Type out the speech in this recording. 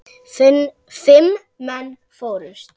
Fimm menn fórust.